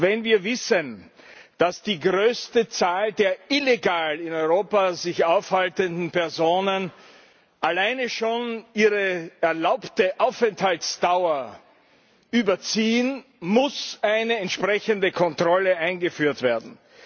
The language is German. Wenn wir wissen, dass die größte Zahl der illegal in Europa sich aufhaltenden Personen alleine schon ihre erlaubte Aufenthaltsdauer überzieht, muss eine entsprechende Kontrolle eingeführt werden.